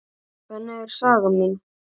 Þannig er saga mín.